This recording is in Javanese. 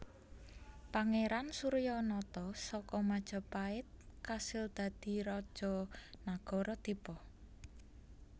Pangeran Suryanata saka Majapahit kasil dadi raja Nagara Dipa